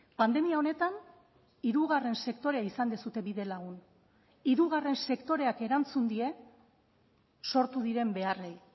pandemia honetan hirugarren sektorea izan duzue bidelagun hirugarren sektoreak erantzun die sortu diren beharrei